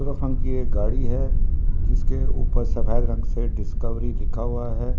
एक गाड़ी है जिसके ऊपर जिसके ऊपर सफ़ेद रंग से डिस्कवरी लिखा हुआ है ।